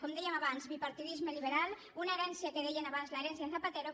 com dèiem abans bipartidisme liberal una herència que en deien abans l’ herencia zapatero